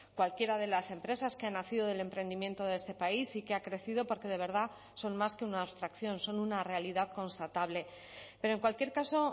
cualquiera de las empresas que han nacido del emprendimiento de este país y que ha crecido porque de verdad son más que una abstracción son una realidad constatable pero en cualquier caso